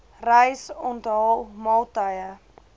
reis onthaal maaltye